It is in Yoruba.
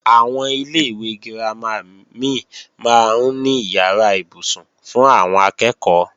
Àwọn ilé-ìwé girama mí máa ń ní ìyàrá ibùsùn fún àwọn akẹ́ẹ̀kọ́